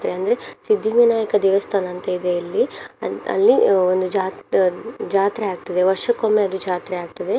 ಅಂದ್ರೆ ಸಿದ್ದಿವಿನಾಯಕ ದೇವಸ್ಥಾನ ಅಂತ ಇದೆ ಇಲ್ಲಿ ಅಲ್~ ಅಲ್ಲಿ ಒಂದು ಜಾತ್~ ಅಹ್ ಜಾತ್ರೆ ಆಗ್ತದೆ ವರ್ಷಕ್ಕೊಮ್ಮೆ ಅದು ಜಾತ್ರೆ ಆಗ್ತದೆ.